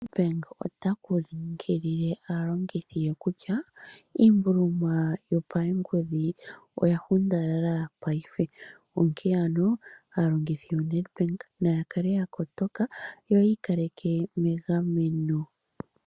NADBANK, ota nkunkilile aalongithi ye kutya iimbuluma yopaengodhi oya hundalala paife shinene onkee ano aalongithi ya NADBANK naakale yakotoka yo yiikaleke megameno